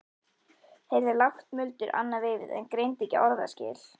Heyrði lágt muldur annað veifið en greindi ekki orðaskil.